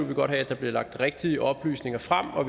vil godt have at der bliver lagt rigtige oplysninger frem og